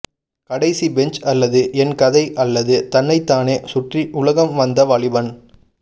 கடைசி பெஞ்சு அல்லது என் கதை அல்லது தன்னைத்தானே சுற்றி உலகம் வந்த வாலிபன்